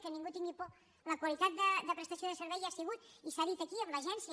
que ningú hi tingui por la qualitat de prestació de servei hi ha sigut i s’ha dit aquí amb l’agència